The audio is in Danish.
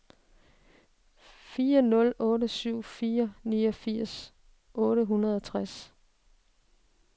fire nul syv fire niogfirs otte hundrede og tres